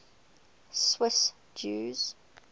swiss jews